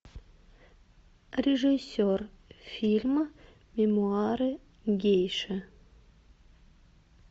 режиссер фильма мемуары гейши